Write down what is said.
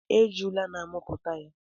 Ejula na amụpụta ya.